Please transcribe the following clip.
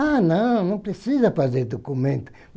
Ah, não, não precisa fazer documento.